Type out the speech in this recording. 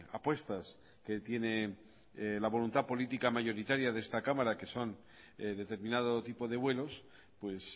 apuestas que tiene la voluntad política mayoritaria de esta cámara que son determinado tipo de vuelos pues